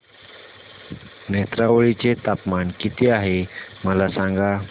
नेत्रावळी चे तापमान किती आहे मला सांगा